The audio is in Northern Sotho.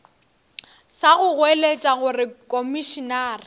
sa go goeletša gore komišenare